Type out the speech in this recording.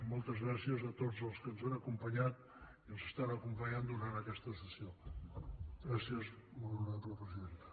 moltes gràcies a tots els que ens han acompanyat i ens acompanyen durant aquesta sessió gràcies molt honorable presidenta